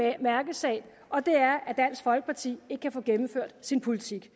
en mærkesag det er at dansk folkeparti ikke kan få gennemført sin politik